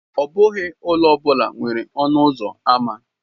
Ọ bụghị ụlọ ọ bụla nwere ọnụ ụzọ ámá.